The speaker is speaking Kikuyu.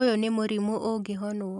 ũyũ nĩ mũrimũ ũngĩhonwo